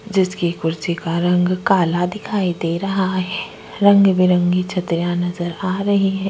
जिसके कुर्सी का रंग काला दिखाई दे रहा है रंग में बिरंगे छतरियां नज़र आ रही है।